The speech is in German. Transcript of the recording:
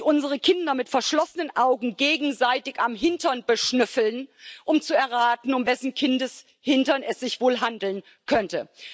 unsere Kinder mit verschlossenen Augen gegenseitig am Hintern beschnüffeln, um zu erraten, um wessen Kindes Hintern es sich wohl handeln könnte.